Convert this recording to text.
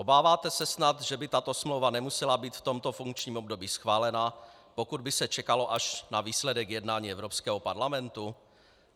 Obáváte se snad, že by tato smlouva nemusela být v tomto funkčním období schválena, pokud by se čekalo až na výsledek jednání Evropského parlamentu?